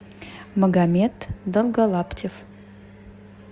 магомед долголаптев